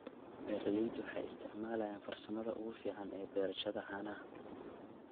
Beeraleydu waxay isticmaalayaan farsamada ugu fiican ee beerashada caanaha.